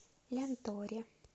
лянторе